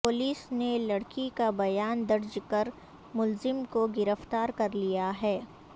police نے لڑکی کا بیان درج کر ملزم کو گرفتار کر لیا ہے